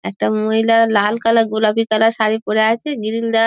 একটি আমহিলা লাল কালার গোলাপি কালার শারি পরে আছে গ্রিল দেয়া।